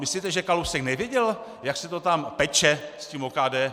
Myslíte, že Kalousek nevěděl, jak se to tam peče s tím OKD?